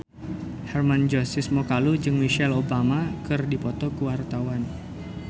Hermann Josis Mokalu jeung Michelle Obama keur dipoto ku wartawan